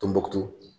Tumubotu